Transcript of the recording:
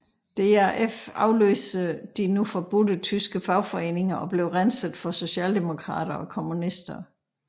DAF afløste de nu forbudte tyske fagforeninger og blev renset for socialdemokrater og kommunister